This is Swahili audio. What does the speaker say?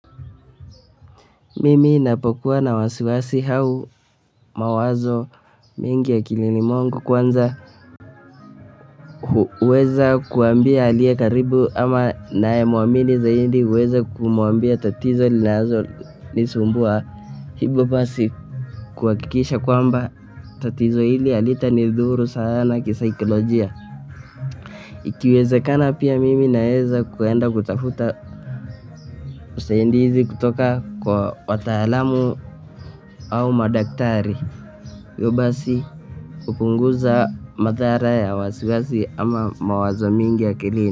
Mimi napokuwa na wasiwasi au mawazo mingi akilini mwangu kwanza uweza kuambiaaliye karibu ama naye muamini zaidi uweza kumwambia tatizo linalonisumbua hivo basi kuhakikisha kwamba tatizo hili halitanidhuru sana kisaikolojia. Ikiwezekana pia mimi naeza kuenda kutafuta usaidizi kutoka kwa wataalamu au madaktari hivyo basi upunguza mathara ya wasiwasi ama mawazo mingi akilini.